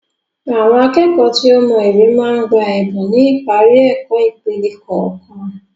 Àwọn akẹ́kọ̀ọ́ tí ó mọ ìwé máa ń gba Ẹ̀bùn ni ipari ẹ̀kọ́ ìpele kọ̀ọ̀kan